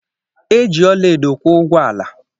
E ji ọla edo kwụ ụgwọ ala.